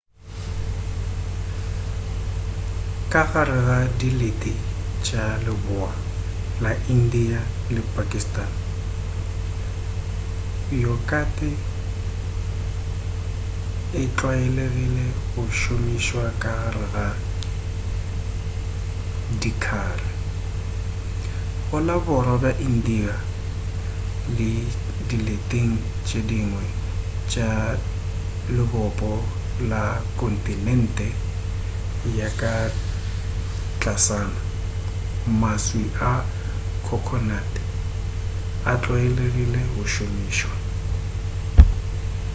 ka gare ga dilete tša leboa la india le pakistan yokate e tlwaelegile go šomišwa ka gare ga dikhari go la borwa bja india le dileteng tše dingwe tša lebopo la kontinente ya ka tlasana maswi a khokhonate a tlwaelegile go šomišwa